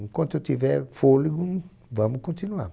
Enquanto eu tiver fôlego, vamos continuar.